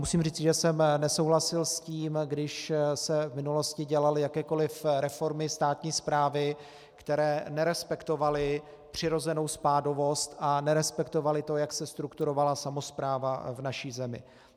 Musím říci, že jsem nesouhlasil s tím, když se v minulosti dělaly jakékoliv reformy státní správy, které nerespektovaly přirozenou spádovost a nerespektovaly to, jak se strukturovala samospráva v naší zemi.